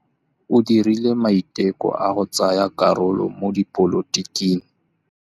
O dirile maitekô a go tsaya karolo mo dipolotiking.